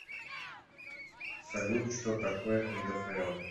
салют что такое ндфл